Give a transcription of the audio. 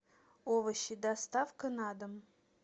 овощи доставка на дом